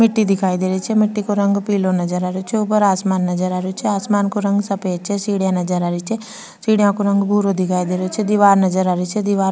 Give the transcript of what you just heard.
मिट्टी दिखाई दे रही छी मिट्टी को रंग पिलो नजर आ रो छे ऊपर आसमान नजर आरो छे आसमान को रंग सफ़ेद छे सीढिया नजर आ रही छे सीढ़ियों के रंग भुर्रो दिखाई दे रो छे दिवार नजर आ रही छे दीवार --